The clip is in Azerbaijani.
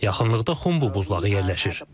Yaxınlıqda Xumbu buzlağı yerləşir.